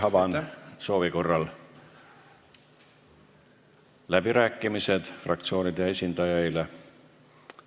Avan läbirääkimised fraktsioonide esindajaile, kui on soovi.